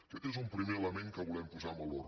aquest és un primer element que volem posar en valor